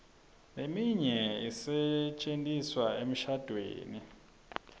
leminye isetjentiswa emishadvweni